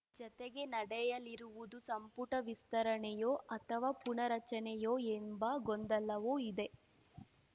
ಜತೆಗೆ ನಡೆಯಲಿರುವುದು ಸಂಪುಟ ವಿಸ್ತರಣೆಯೋ ಅಥವಾ ಪುನರಚನೆಯೋ ಎಂಬ ಗೊಂದಲವೂ ಇದೆ